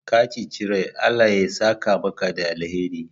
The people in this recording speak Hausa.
Ka ceci rai, Allah ya saka maka da alheri.